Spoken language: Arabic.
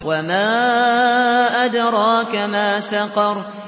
وَمَا أَدْرَاكَ مَا سَقَرُ